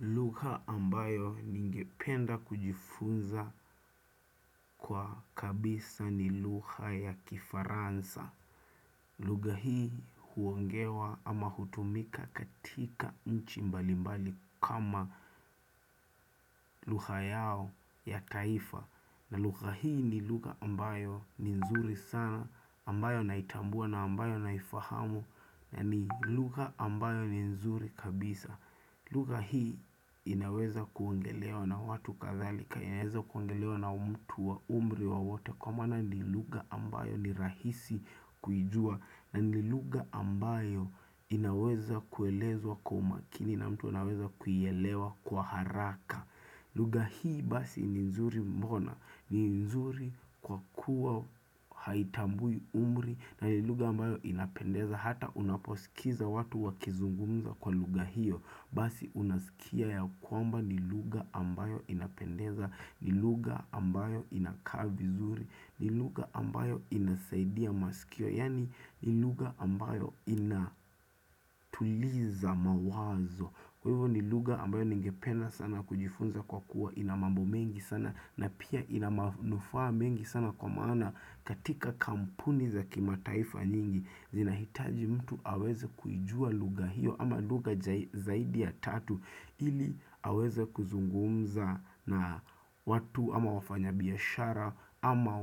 Lugha ambayo ningependa kujifunza kwa kabisa ni lugha ya kifaransa lugha hii huongewa ama hutumika katika nchi mbalimbali kama lugha yao ya kaifa na lugha hii ni lugha ambayo ni nzuri sana ambayo naitambua na ambayo naifahamu na ni lugha ambayo ni nzuri kabisa lugha hii inaweza kuongelewa na watu kadhalika inaweza kuongelewa na mtu wa umri wowote Kwa maana ni lugha ambayo ni rahisi kuijua na ni lugha ambayo inaweza kuelezwa kwa umakini na mtu anaweza kuielewa kwa haraka lugha hii basi ni nzuri mbona ni nzuri kwa kuwa haitambui umri na ni lugha ambayo inapendeza hata unaposikiza watu wakizungumza kwa lugha hiyo Basi unasikia ya kwamba ni lugha ambayo inapendeza, ni lugha ambayo inakaa vizuri, ni lugha ambayo inasaidia masikio, yaani ni lugha ambayo inatuliza mawazo. Kwa hivyo ni lugha ambayo ningependa sana kujifunza kwa kuwa ina mambo mengi sana na pia inamanufaa mengi sana kwa maana katika kampuni za kimataifa nyingi. Zinahitaji mtu aweze kuijua luga hiyo ama lugha zaidi ya tatu ili aweze kuzungumza na watu ama wafanya biashara ama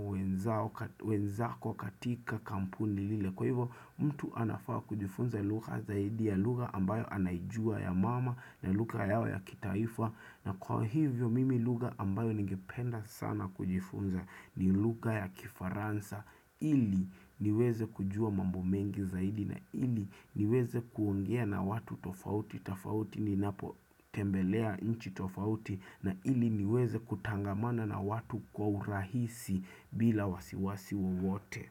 wenzako katika kampuni lile. Kwa hivyo mtu anafaa kujifunza lugha zaidi ya lugha ambayo anaijua ya mama na lugha yao ya kitaifa na kwa hivyo mimi lugha ambayo ningependa sana kujifunza ni lugha ya kifaransa ili niweze kujua mambo mengi zaidi na ili niweze kuongea na watu tofauti tafauti ninapo tembelea nchi tofauti na ili niweze kutangamana na watu kwa urahisi bila wasiwasi wowote.